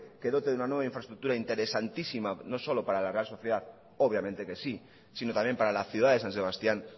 que dote de una nueva infraestructura interesantísima no solo para la real sociedad obviamente que sí sino también para la ciudad de san sebastián